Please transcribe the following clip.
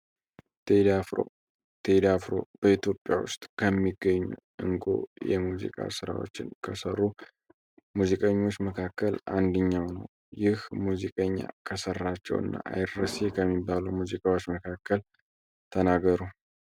ቴዳፍሮበኢትዮጵያ ውስጥ ከሚገኙ እንጎ የሙዚቃ ሥራዎችን ከሰሩ ሙዚቀኞች መካከል አንድኛው ነው ይህ ሙዚቀኛ ከሠራቸው እና አይድረስ ከሚባሉ ሙዚቃዎች መካከል ተናገሩ